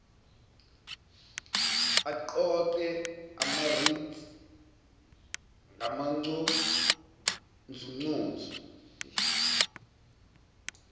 aqoqe amarates ngamanconzunconzu